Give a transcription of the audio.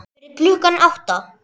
Fyrir klukkan átta?